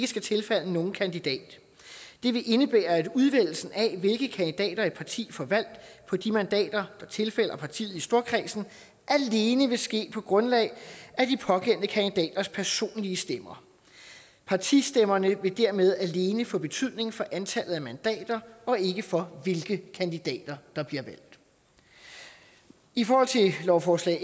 skal tilfalde nogen kandidat det vil indebære at udvælgelsen af hvilke kandidater et parti får valgt på de mandater der tilfalder partiet i storkredsen alene vil ske på grundlag af de pågældende kandidaters personlige stemmer partistemmerne vil dermed alene få betydning for antallet af mandater og ikke for hvilke kandidater der bliver valgt i forhold til lovforslag